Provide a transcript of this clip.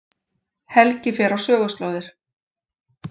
Helgi fer á söguslóðir